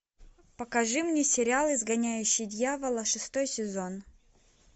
покажи мне сериал изгоняющий дьявола шестой сезон